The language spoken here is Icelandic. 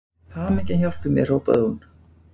Hamingjan hjálpi mér hrópaði hún.